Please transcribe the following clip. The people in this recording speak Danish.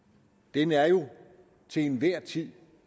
den er jo til enhver tid